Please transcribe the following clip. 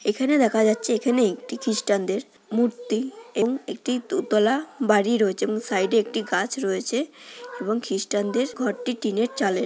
এখানে দেখা যাচ্ছে এখানে একটি খ্রিষ্টানদের মূর্তি এবং একটি দোতলা বাড়ি রয়েছে এবং সাইডে একটি গাছ রয়েছে এবং খ্রিষ্টানদের ঘরটি টিনের চালের।